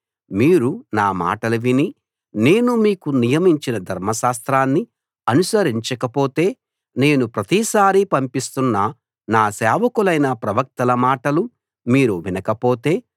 మీరు నా మాటలు విని నేను మీకు నియమించిన ధర్మశాస్త్రాన్ని అనుసరించకపోతే నేను ప్రతిసారీ పంపిస్తున్న నా సేవకులైన ప్రవక్తల మాటలు మీరు వినకపోతే